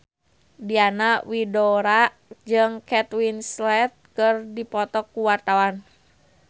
Diana Widoera jeung Kate Winslet keur dipoto ku wartawan